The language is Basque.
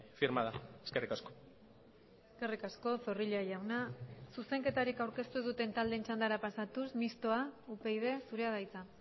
firmada eskerrik asko eskerrik asko zorrilla jauna zuzenketarik aurkeztu ez duten taldeen txandara pasatuz mistoa upyd zurea da hitza